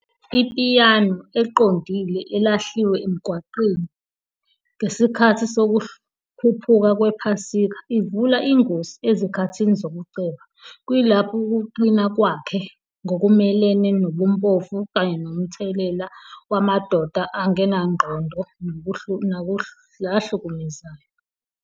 Ipiyano eqondile elahliwe emgwaqweni ngesikhathi sokukhuphuka kwePhasika ivula ingosi ezikhathini zokuceba, kuyilapho ukuqina kwakhe ngokumelene nobumpofu kanye nomthelela wamadoda angenangqondo nahlukumezayo